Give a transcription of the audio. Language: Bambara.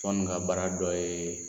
Tɔn nin ka baara dɔ ye